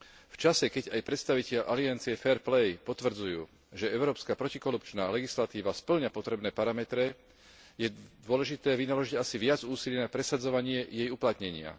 V čase, keď aj predstavitelia Aliancie Fair play potvrdzujú, že európska protikorupčná legislatíva spĺňa potrebné parametre, je dôležité vynaložiť asi viac úsilia na presadzovanie jej uplatnenia.